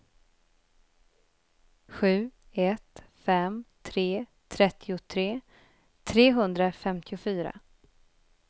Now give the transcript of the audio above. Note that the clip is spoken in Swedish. sju ett fem tre trettiotre trehundrafemtiofyra